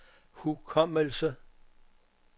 hukommelse